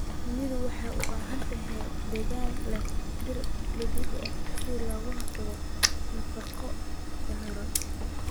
Shinnidu waxay u baahan tahay deegaan leh dhir dabiici ah si looga hortago nafaqo darro.